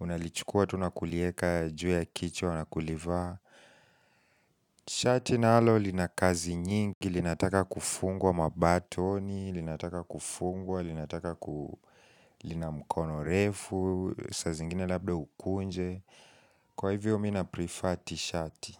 Unalichukua tu na kulieka juu ya kichwa na kulivaa shati nalo lina kazi nyingi Linataka kufungwa mabatoni Linataka kufungwa Linataka ku lina mkono refu saa zingine labda ukunje Kwa hivyo mimi na prefer tishati.